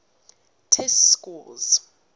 test scores